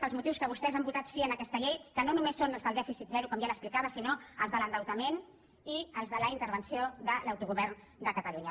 pels motius que vostès han votat sí en aquesta llei que no només són els del dèficit zero com ja li explicava sinó els de l’endeutament i els de la intervenció de l’autogovern de catalunya